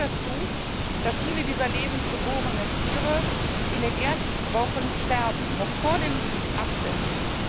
Das führt dazu, dass viele dieser lebend geborenen Tiere in den ersten Wochen sterben, noch vor dem Absetzen.